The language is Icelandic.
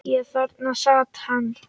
Og þarna sat hann.